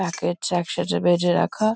Packet এ একসাথে বেঁধে রাখা ।